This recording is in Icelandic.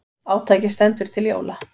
Átakið stendur til jóla.